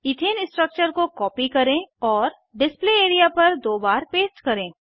ethane structure को copy करें और डिस्प्ले एरिया पर दो बार पेस्ट करें